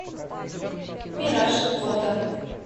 мираж фото